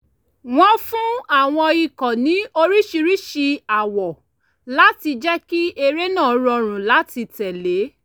wọ́n fún àwọn ikọ̀ ní oríṣiríṣi àwọ̀ láti jẹ́ kí eré náà rọrùn láti tẹ̀lé